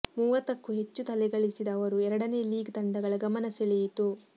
ಮೂವತ್ತಕ್ಕೂ ಹೆಚ್ಚು ತಲೆ ಗಳಿಸಿದ ಅವರು ಎರಡನೇ ಲೀಗ್ ತಂಡಗಳ ಗಮನ ಸೆಳೆಯಿತು